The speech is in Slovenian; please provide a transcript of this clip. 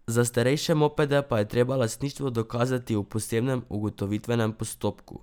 Za starejše mopede pa je treba lastništvo dokazati v posebnem ugotovitvenem postopku.